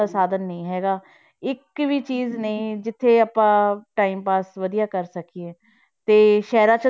ਦਾ ਸਾਧਨ ਨਹੀਂ ਹੈਗਾ ਇੱਕ ਵੀ ਚੀਜ਼ ਨੀ ਜਿੱਥੇ ਆਪਾਂ time pass ਵਧੀਆ ਕਰ ਸਕੀਏ, ਤੇ ਸ਼ਹਿਰਾਂ 'ਚ